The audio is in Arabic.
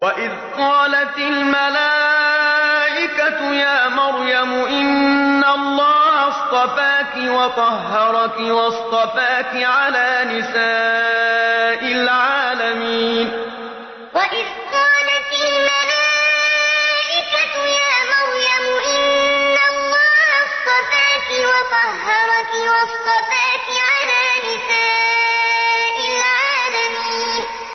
وَإِذْ قَالَتِ الْمَلَائِكَةُ يَا مَرْيَمُ إِنَّ اللَّهَ اصْطَفَاكِ وَطَهَّرَكِ وَاصْطَفَاكِ عَلَىٰ نِسَاءِ الْعَالَمِينَ وَإِذْ قَالَتِ الْمَلَائِكَةُ يَا مَرْيَمُ إِنَّ اللَّهَ اصْطَفَاكِ وَطَهَّرَكِ وَاصْطَفَاكِ عَلَىٰ نِسَاءِ الْعَالَمِينَ